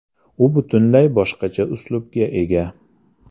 U butunlay boshqacha uslubga ega.